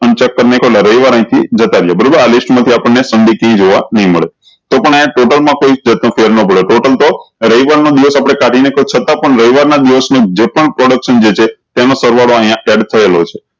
તમે કે રવિવાર અયી થી જતા રહીએ બરોબર આ list મા થી આપણ ને જોવા નહી મળે તો પણ અયી ટેબલ મા કોઈ ફેરફાર નહી પડે તો પણ તો રવિવાર ના દિવસ આપળે કાઢી ને તો છતાં પણ રવિવાર ના દિવસ ની જે પણ production જે છે તેનો સરવાળો અયીયા સેટ થયેલો છે